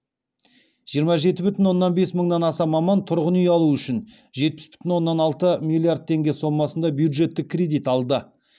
жиырма жеті бүтін оннан бес мыңнан аса маман тұрғын үй алу үшін жетпіс бүтін оннан алты миллиард теңге сомасында бюджеттік кредит алды